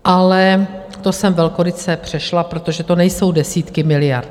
Ale to jsem velkoryse přešla, protože to nejsou desítky miliard.